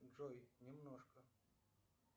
джой немножко